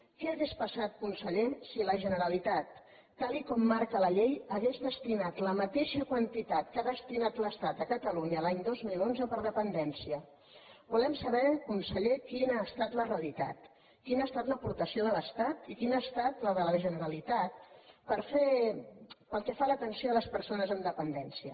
què hauria passat conseller si la generalitat tal com marca la llei hagués destinat la mateixa quantitat que ha destinat l’estat a catalunya l’any dos mil onze per a dependència volem saber conseller quina ha estat la realitat quina ha estat l’aportació de l’estat i quina ha estat la de la generalitat pel que fa a l’atenció a les persones amb dependència